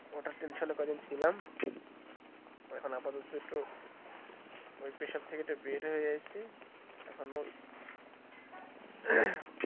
ওটাই tension কয়েকদিন ছিলাম এখন আপাতত একটু ওই pressure থেকে বের হয়ে গেছি এখনো।